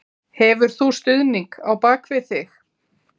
Hefur þú stuðning á bakvið þig?